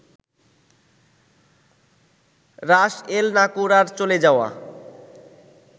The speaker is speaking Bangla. রাস এল-নাকুরার চলে যাওয়া